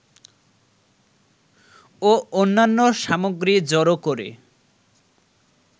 ও অন্যান্য সামগ্রী জড়ো করে